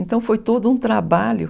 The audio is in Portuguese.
Então foi todo um trabalho.